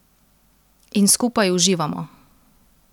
In skupaj uživamo.